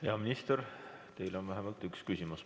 Hea minister, teile on vähemalt üks küsimus.